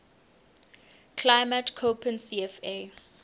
climate koppen cfa